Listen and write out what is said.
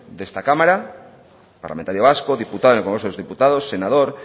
de esta cámara parlamentario vasco diputado en el congreso de los diputados senador